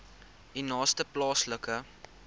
u naaste plaaslike